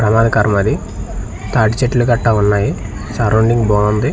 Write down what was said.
ప్రమాదకరం అది తాటి చెట్లు గట్టా ఉన్నాయి సరౌండింగ్ బాంది ..